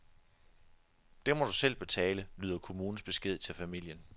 Det må du selv betale, lyder kommunens besked til familien.